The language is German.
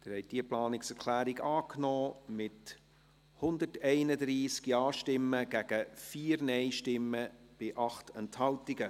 Sie haben diese Planungserklärung angenommen, mit 131 Ja- gegen 4 Nein-Stimmen bei 8 Enthaltungen.